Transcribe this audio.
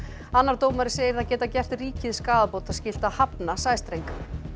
annar dómari segir það geta gert ríkið skaðabótaskylt að hafna sæstreng